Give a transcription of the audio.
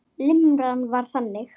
Limran var þannig: